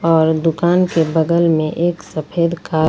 और दुकान के बगल में एक सफेद का--